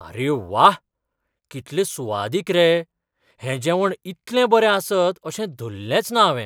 आरे व्वा! कितलें सुवादीक रे, हें जेवण इतलें बरें आसत अशें धल्लेंच ना हावें.